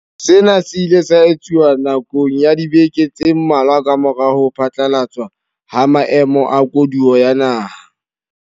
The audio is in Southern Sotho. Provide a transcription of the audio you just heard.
Sena se ile sa etsuwa na kong ya dibeke tse mmalwa kamora ho phatlalatswa ha Maemo a Koduwa ya Naha.